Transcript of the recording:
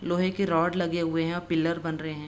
लोहे के रॉड लगे हुए हैं अ पिलर बन रहें हैं।